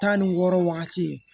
Tan ni wɔɔrɔ wagati ye